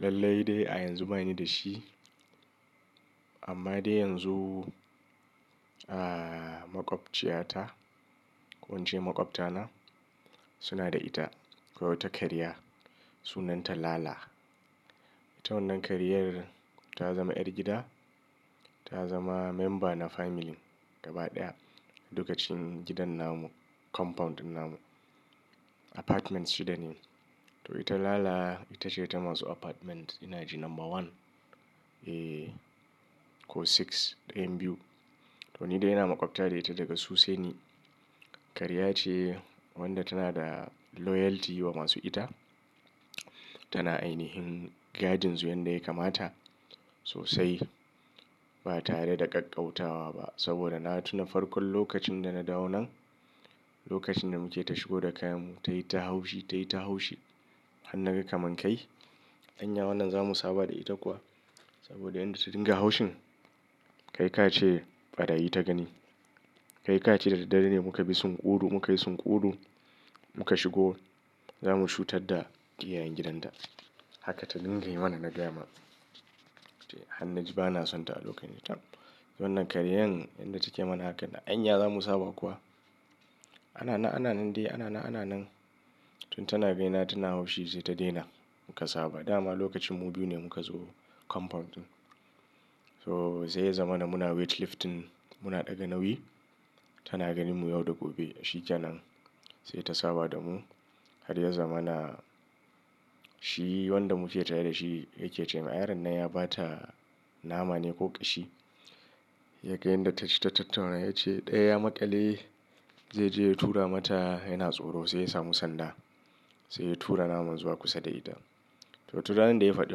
Lallai dai a yanzu bani da shi. Amma dai yanzu, aa makwabciyata, ko in ce makwabta na suna da ita, akawai wata karya sunanta Lala. Ita wannan karyar ta zama ’yar gida, ta zama memba na family gaba ɗaya. Dukacin gidan namu, compound ɗin namu, apartments shida ne. To ita Lala ita ce ta masu apartment ina ji number one, eh ko six, ɗayan biyu. To ni dai ina makwabta da ita daga su sai ni. Karya ce wanda tana da loyalty wa masu ita, tana ainihin gadin su yanda ya kamata sosai. Ba tare da ƙaƙƙautawa ba saboda na tuna farkon lokacin da na dawo nan, lokacin da muke ta shigo da kayan mu ta yi ta haushi ta yi ta haushi. Har naga kaman kai, "Anya wannan zamu saba da ita kuwa?" Saboda inda ta dinga haushin kai ka ce ɓarayi ta gani. Kai ka ce da daddre ne muka bi sunƙuru muka yi sunƙuru muka shigo zamu cutar da iyayen gidanta. Haka ta dinga yi mana na ga ma. To han na ji ba na son ta a lokacin nan. Wannan karyan yanda take mana hakan "Anya zamu saba kuwa?" "Ana nan, ana nan dai, ana nan, ana nan." Tun tana bina tana haushi sai ta daina muka saba. Da ma lokacin mu biyu ne muka zo compound ɗin. So sai ya zamana muna weight lifting muna ɗaga nauyi tana ganin mu yauda gobe. Shi kenan sai ta saba da mu. Har ya zamana shi wanda muke tare da shi yake ce min, "Ay ran nan ya ba ta nama ne ko ƙashi." Ya ga yanda ta ci ta tattauna ya ce, "ɗaya maƙale zai je ya tura mata yana tsoro sai ya samu sanda sai ya tura naman zuwa kusa da ita." To tun ranar da ya faɗi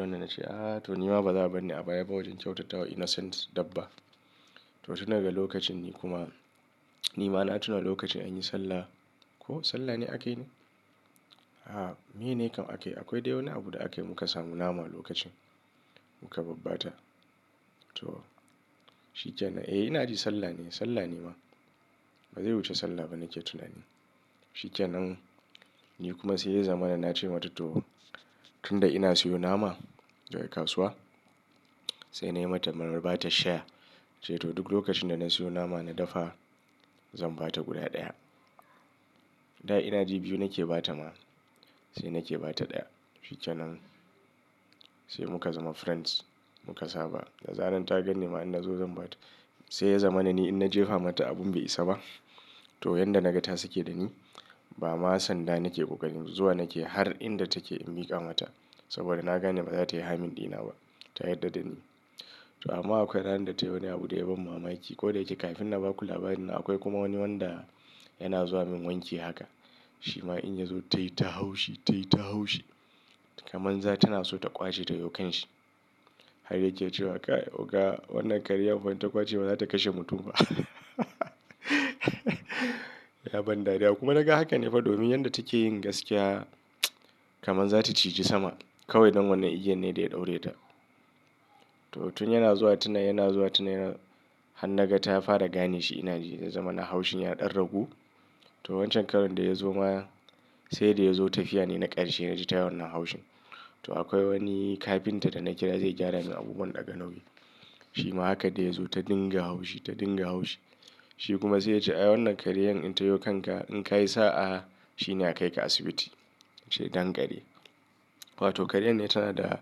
wannan na ce, "Ah to nima ba za a bar ni a baya ba wajen kyautatawa innocent dabba." To tun daga lokacin ni kuma nima na tuna lokacin an yi sallah ko sallah ne aka yi ne? Ha, miye ne kam aka yi, akwai dai wani abu da aka yi muka samu nama lokacin muka babba ta. To shi kenan, eh ina ji sallah ne, sallah ne ma. Ba zai wuce sallah ba nake tunani. Shi kenan ni kuma sai ya zamana na ce mata to tunda ina siyo nama daga kasuwa sai na yi mata na ba ta share. Sai to duk lokacin da na siyo nama na dafa zan ba ta guda ɗaya. Da ina ji biyu nake ba ta ma sai nake ba ta ɗaya. Shi kenan sai muka zama friends muka saba. Da zaran ta gan ni ma in na zo zan ba ta. Sai ya zamana ni in na jefa mata abun bai isa ba to yanda naga ta sake da ni ba ma sanda nake ƙoƙarin zuwa nake har inda take in miƙa mata saboda na gane baza ta yi harming ɗina ba ta yarda da ni. To amma akwai ranar da ta yi wani abu da ya ban mamaki. Ko da yake kafin na baku labarin akwai kuma wani wanda yana zuwa min wanki haka. Shi ma in ya zo ta yi ta haushi ta yi ta haushi kaman za tana so ta ƙwace ta yo kanshi. Har yake cewa, "Kai oga wannan karyar fa idan ta ƙwace ma zata kashe mutum fa." Ya ban dariya kuma naga hakan ne fa domin yanda take yin gaskiya kaman za ta ciji sama kawai ɗan wannan igiyan ne da ya ɗaure ta. To tun yana zuwa tun yana zuwa tun yana han naga ta fara gane shi ina ji ya zamana haushin ya ɗan ragu. To wancan karan da ya zo ma sai da ya zo tafiya ne na ƙarshe na ji ta yi wannan haushin. To akwai wani kafinta da na kira zai gyara min abubuwan ɗaga nauyi. Shi ma haka da ya zo ta dinga haushi ta dinga haushi. Shi kuma sai ya ce, "Eh wannan karyan in ta yo kanka in ka yi sa'a shine a kai ka asibiti." Ya ce danƙari. To kariyar ne tana da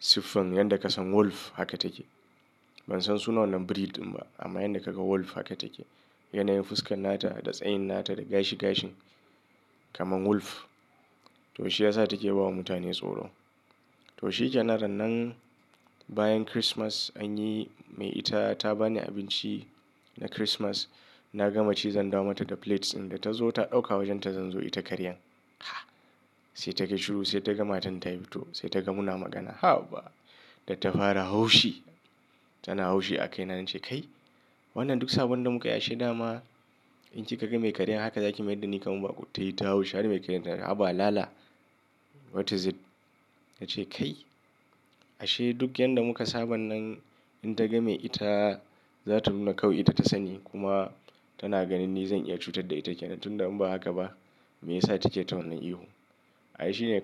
siffan yanda ka san wolf haka take. Ban san sunan wannan breed ɗin ba amma yanda ka ga wolf haka take. Yanayin fuskan nata da tsayin nata da gashi gashin kamar wolf. To shi yasa take ba wa mutane tsoro. To shi kenan ran nan bayan Christmas anyi mai ita ta bani abinci na Christmas na gama ci zan dawo mata da plates ɗin da ta zo ta ɗauka wajan ta zan zo ita karyan. Ha! Sai ta ga shuru sai ta ga matan ta fito sai ta ga muna magana. Ha ba! Da ta fara haushi tana haushi a kaina na ce, "Kai wannan duk sabon da muka yi ashe da ma in ki ka ga me karyar haka za ki mayar da ni kaman baƙo." Ta yi ta haushi har mai karyar ta ce, "haba Lala what is it?" Na ce, "Kai ashe duk yanda muka saban nan in taga me ita za ta nuna kawai ita ta sani kuma tana ganin ni zan iya cutar da ita kenan. Tunda in ba haka ba me yasa take ta wannan ihun. Ai shine kawai.